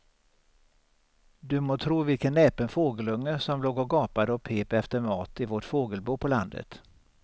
Du må tro vilken näpen fågelunge som låg och gapade och pep efter mat i vårt fågelbo på landet.